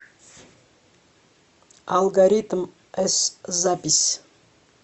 алгоритм с запись